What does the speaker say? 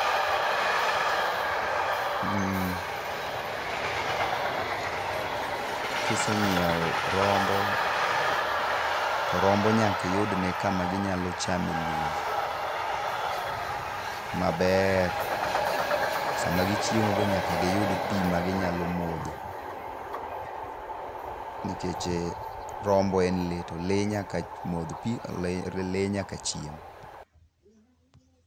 Kiseng'iew rombo to rombo nyaka iyudne kamaro ma gi nyalo chamo e lum maber. Sama gichiemo be nyaka giyud pi ma gi nyalo modho. Nikech rombo e le to le nyaka modh pi to le nyaka chiem.